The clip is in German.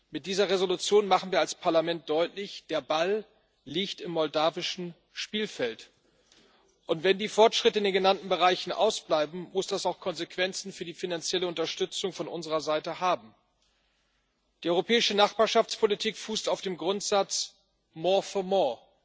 Mit dieser Entschließung machen wir als Parlament deutlich Der Ball liegt im moldauischen Spielfeld, und wenn die Fortschritte in den genannten Bereichen ausbleiben, muss das auch Konsequenzen für die finanzielle Unterstützung von unserer Seite haben. Die europäische Nachbarschaftspolitik fußt auf dem Grundsatz more for more